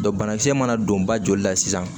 banakisɛ mana don ba joli la sisan